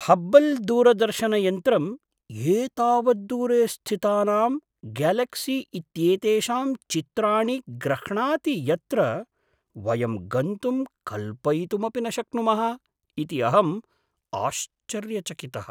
हब्बल् दूरदर्शनयन्त्रम् एतावत् दूरे स्थितानां गेलक्सी इत्येतेषां चित्राणि ग्रह्णाति यत्र वयं गन्तुं कल्पयितुमपि न शक्नुमः इति अहम् आश्चर्यचकितः।